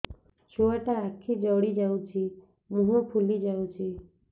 ଛୁଆଟା ଆଖି ଜଡ଼ି ଯାଉଛି ମୁହଁ ଫୁଲି ଯାଉଛି